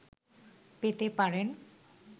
পেতে পারেন